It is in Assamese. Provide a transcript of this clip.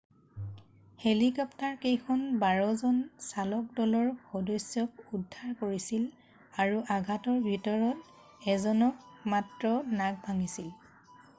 হেলিকপ্টাৰকেইখনে বাৰজন চালকদলৰ সদস্যক উদ্ধাৰ কৰিছিল আৰু আঘাতৰ ভিতৰত এজনৰ মাত্ৰ নাক ভাঙিছিল